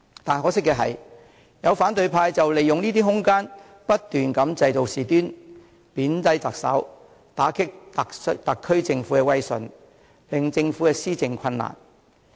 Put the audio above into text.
但可惜的是，有反對派利用這些空間不斷製造事端，貶低特首，打擊特區政府的威信，令政府施政困難。